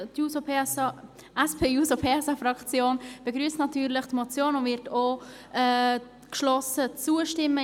Die SP-JUSO-PSA-Fraktion begrüsst natürlich diese Motion und wird auch geschlossen zustimmen.